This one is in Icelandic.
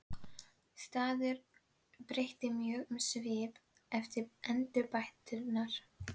Staðurinn breytti mjög um svip eftir endurbæturnar.